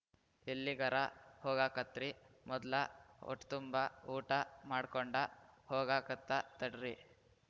ಎಲ್ಲಿಗರ ಹೋಗಾಕತ್ರಿ ಮೊದ್ಲ ಹೊಟ್ತುಂಬ ಊಟ ಮಾಡ್ಕೊಂಡ ಹೋಗಾಕತ್ತ ತಡ್ರಿ